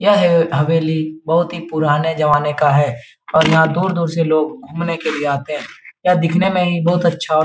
यह हैव हवेली बहुत ही पुराने ज़माने का है और यहाँ दूर-दूर से लोग घूमने के लिए आते हैं यह दिखने में ही बहुत अच्छा --